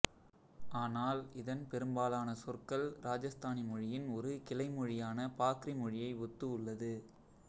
ஆனால் இதன் பெரும்பாலான சொற்கள் ராஜஸ்தானி மொழியின் ஒரு கிளை மொழியான பாக்ரி மொழியை ஒத்து உள்ளது